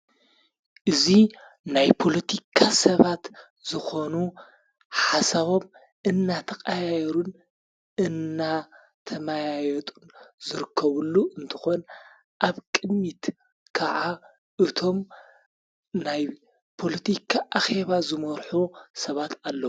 እዙይ ናይ ፖሎቲካ ሰባት ዝኾኑ ሓሳቦም እናተቓያሩን እናተማያየጡን ዘርከቡሉ እንተኾን ኣብ ቅሚት ከዓ እቶም ናይ ፖሎቲካ ኣኼባ ዝመርኁ ሰባት ኣለዉ።